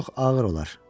Çox ağır olar.